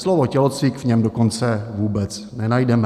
Slovo "tělocvik" v něm dokonce vůbec nenajdeme.